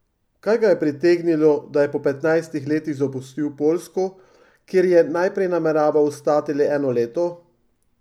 Kaj ga je pritegnilo, da je po petnajstih letih zapustil Poljsko, kjer je najprej nameraval ostati le eno leto?